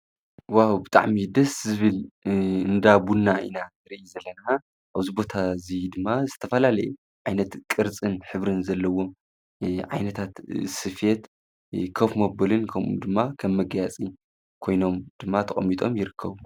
ዊሃ ብጣዕሚ ደስ ዝብል እንዳቡና ኢና ርይ ዘለና ።ኣብዝቦታ እዙይ ድማ ዝተፋላለየ ዓይነት ቅርጽን ኅብርን ዘለዎ ዓይነታት ስፍት ከፍ ሞበልን ከም ድማ ኸምመገያጺ ኮይኖም ድማ ተቐሚጦም ይርከቡ።